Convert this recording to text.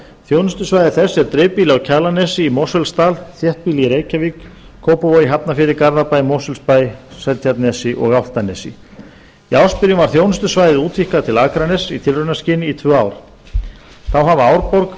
þjónustusvæði þess er dreifbýli á kjalarnesi í mosfellsdal þéttbýlið í reykjavík kópavogi hafnarfirði garðabæ mosfellsbæ seltjarnarnesi og álftanesi í ársbyrjun var þjónustusvæðið útvíkkað til akraness í tilraunaskyni í tvö ár þá hafa árborg